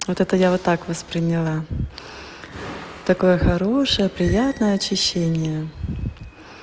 вот это я вот так восприняла такое хорошее приятное очищение